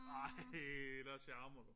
Ej der charmer du